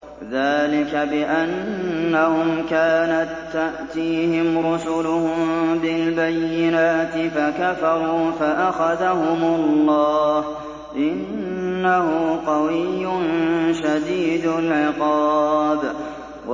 ذَٰلِكَ بِأَنَّهُمْ كَانَت تَّأْتِيهِمْ رُسُلُهُم بِالْبَيِّنَاتِ فَكَفَرُوا فَأَخَذَهُمُ اللَّهُ ۚ إِنَّهُ قَوِيٌّ شَدِيدُ الْعِقَابِ